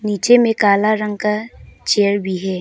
नीचे में काला रंग का चेयर भी है।